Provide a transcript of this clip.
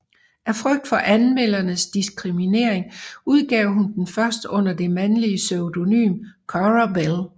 Af frygt for anmeldernes diskriminering udgav hun den først under det mandlige pseudonym Currer Bell